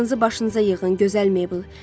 Ağlınızı başınıza yığın, gözəl Meybl!